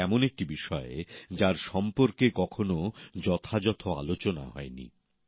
এটি এমন একটি বিষয় যার সম্পর্কে কখনও যথাযথ আলোচনা হয়নি